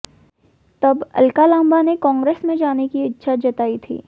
तब अलका लांबा ने कांग्रेस में जाने की इच्छा जताई थी